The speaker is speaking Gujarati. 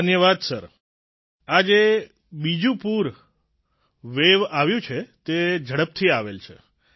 ધન્યવાદ સર આ જે બીજી લહેર વેવ આવી છે તે ઝડપથી આવેલ છે